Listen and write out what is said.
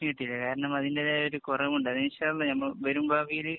കാരണം അതിന്‍റേതായ ഒരു കൊറവ് ഉണ്ട്. അത് ഇന്‍ഷാ അള്ളാ വരും ഭാവിയില്